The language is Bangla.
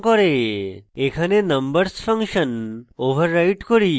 এখানে numbers ফাংশন override করি